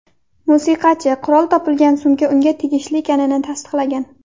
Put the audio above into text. Musiqachi qurol topilgan sumka unga tegishli ekanini tasdiqlagan.